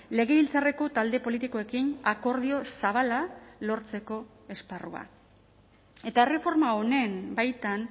legebiltzarreko talde politikoekin akordio zabala lortzeko esparrua eta erreforma honen baitan